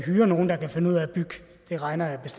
andreas